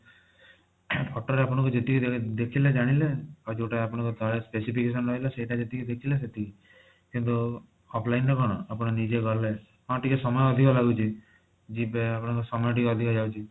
photo ରେ ଆପଣ ଯେତିକି ଦେଖିଲେ ଜାଣିଲେ ଆଉ ଯୋଊଟା ଆପଣଙ୍କର choice ବେଶୀ ରହିଲା ସେଇଟା ଯେତିକି ଦେଖିଲେ ସେତିକି କିନ୍ତୁ offline ରେ କଣ ଆପଣ ନିଜେ ଗଲେ ହଁ ଟିକେ ସମୟ ଅଧିକ ଲାଗୁଛି ଯିବେ ଆପଣଙ୍କ ସମୟ ଟିକେ ଅଧିକ ଯାଉଛି